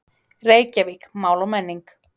Reykjavík, Mál og menning.